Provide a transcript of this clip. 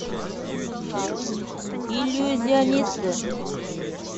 иллюзионисты